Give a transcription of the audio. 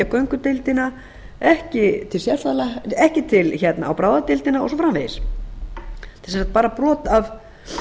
göngudeildina ekki á bráðadeildina og svo framvegis þetta er sem sagt bara bara af